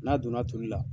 N'a donna toli la